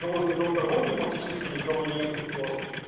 но возле дом торговли фактически никого нету тоже